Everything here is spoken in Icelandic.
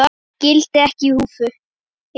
Evrópsk gildi eru í húfi.